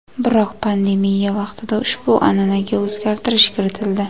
Biroq pandemiya vaqtida ushbu an’anaga o‘zgartirish kiritildi.